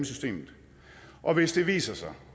systemet og hvis det viser sig